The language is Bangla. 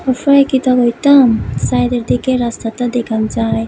কইতাম চাইরিদিকের রাস্তাটা দেখান যায়।